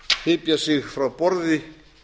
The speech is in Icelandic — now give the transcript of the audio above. hypja sig frá borði